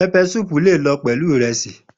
Peppersoup le jẹ pẹlu iresi